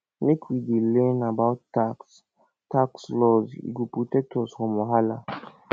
make we dey learn about tax tax laws e go protect us from wahala